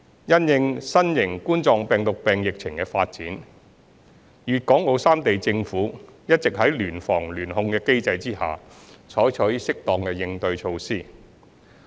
因應新型冠狀病毒病疫情的發展，粵港澳三地政府一直在聯防聯控的機制下採取適當的對應措施。